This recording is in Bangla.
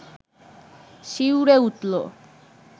শিউরে উঠল